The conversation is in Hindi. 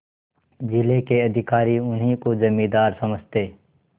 जिले के अधिकारी उन्हीं को जमींदार समझते